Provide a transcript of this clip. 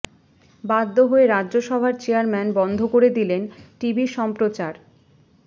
বাধ্য হয়ে রাজ্যসভার চেয়ারম্যান বন্ধ করে দিলেন টিভি সম্প্রচার